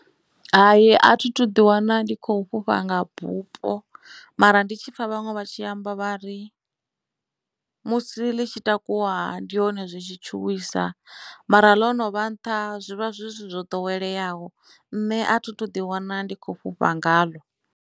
Hai a thi thu ḓi wana ndi khou fhufha nga bupo mara ndi tshipfa vhaṅwe vha tshi amba vha ri musi ḽi tshi takuwa ndi hone zwi tshi tshuwisa mara ḽono vha nṱha zwivha zwi zwithu zwo ḓoweleaho nṋe a thi thu ḓi wana ndi kho fhufha ngaḽo.